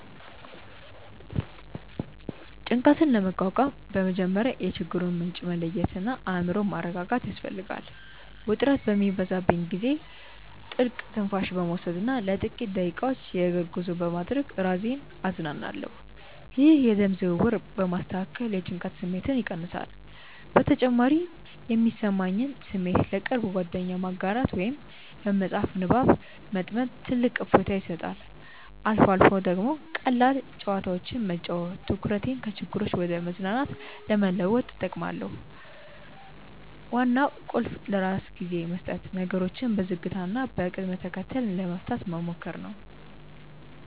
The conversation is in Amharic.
ጭንቀትን ለመቋቋም በመጀመሪያ የችግሩን ምንጭ መለየትና አእምሮን ማረጋጋት ያስፈልጋል። ውጥረት በሚበዛብኝ ጊዜ ጥልቅ ትንፋሽ በመውሰድና ለጥቂት ደቂቃዎች የእግር ጉዞ በማድረግ ራሴን አዝናናለሁ። ይህ የደም ዝውውርን በማስተካከል የጭንቀት ስሜትን ይቀንሳል። በተጨማሪም የሚሰማኝን ስሜት ለቅርብ ጓደኛ ማጋራት ወይም በመጽሐፍ ንባብ መጥመድ ትልቅ እፎይታ ይሰጣል። አልፎ አልፎ ደግሞ ቀላል ጨዋታዎችን መጫወት ትኩረቴን ከችግሮች ወደ መዝናናት ለመለወጥ እጠቀማለሁ። ዋናው ቁልፍ ለራስ ጊዜ መስጠትና ነገሮችን በዝግታና በቅደም ተከተል ለመፍታት መሞከር ነው።